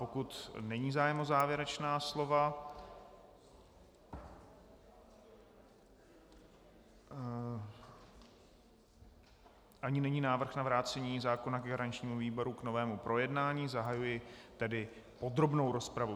Pokud není zájem o závěrečná slova ani není návrh na vrácení zákona garančnímu výboru k novému projednání, zahajuji tedy podrobnou rozpravu.